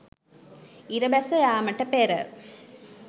ඉර බැස යාමට පෙර